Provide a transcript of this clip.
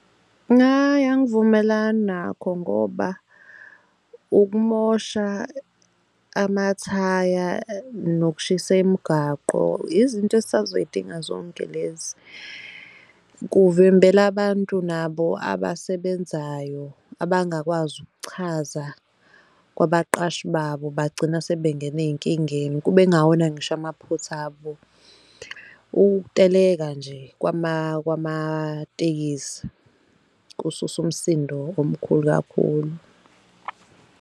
Hhayi, angivumelani nakho ngoba ukumosha amathaya, nokushisa imigwaqo, izinto esisazoyi inga zonke lezi. Kuvimbela abantu nabo abasebenzayo abangakwazi ukuchaza kwabaqashi babo, bagcina sebengena ey'nkingeni, kube kungawona ngisho amaphutha abo. Ukuteleka nje kwamatekisi kususa umsindo omkhulu kakhulu.